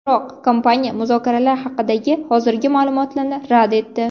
Biroq kompaniya muzokaralar haqidagi hozirgi ma’lumotlarni rad etdi.